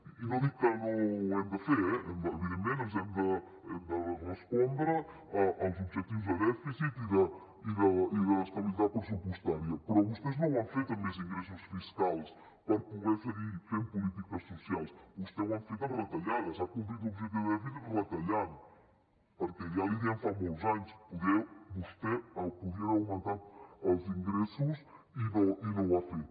i no dic que no ho hem de fer eh evidentment hem de respondre als objectius de dèficit i d’estabilitat pressupostària però vostès no ho han fet amb més ingressos fiscals per poder seguir fent polítiques socials vostès ho han fet amb retallades ha complit l’objectiu de dèficit retallant perquè ja li dèiem fa molts anys vostè podria haver augmentat els ingressos i no ho ha fet